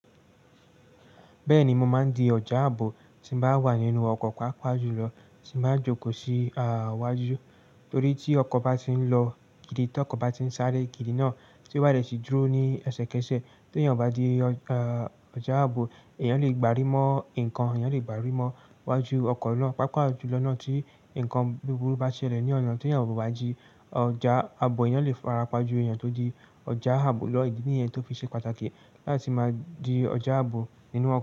Bẹ́ẹ̀ni, mo máa ń di ọjà ààbò tí n bá wà nínú ọkọ̀ pàápàá jù lọ tí mo bá jókòó sí iwajọ. Torí tí ọkọ̀ bá ti ń lọ gidi, tí ọkọ̀ bá ti ń sáré gidi náà, tí oba deti dúró ní ẹsẹ̀kẹsẹ̀, tí èèyàn bá di ọjà ààbò, èèyàn lè gbárí mọ́ ǹkan, èèyàn lè gbárí mọ́ iwájú ọkọ̀ náà, pàápàá jù lọ náà tí ǹkan búburú bá ṣẹlẹ̀ ní ọ̀nà tí èèyàn ò bá jí ọjà ààbò, èèyàn lè farapa ju èèyàn tó di ọjà ààbò lọ̀gbin yẹn tó fi ṣe pàtàkì láti máa di ọjà ààbò nínú ọkọ̀